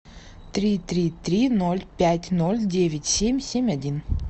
три три три ноль пять ноль девять семь семь один